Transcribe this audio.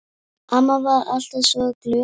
Amma var alltaf svo glöð.